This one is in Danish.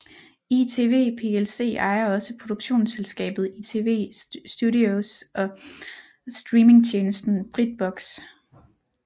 ITV plc ejer også produktionsselskabet ITV Studios og streamingtjenesten Britbox